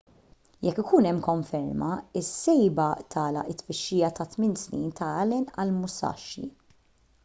jekk ikun hemm konferma is-sejba tagħlaq it-tfittxija ta' tmien snin ta' allen għall-musashi